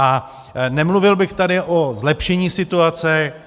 A nemluvil bych tady o zlepšení situace.